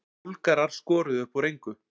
Búlgarar skoruðu upp úr engu